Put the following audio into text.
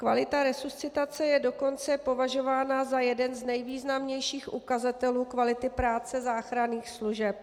Kvalita resuscitace je dokonce považována za jeden z nejvýznamnějších ukazatelů kvality práce záchranných služeb.